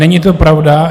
Není to pravda.